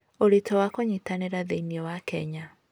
Ũritũ wa kũnyitanĩra thĩinĩ wa Kenya.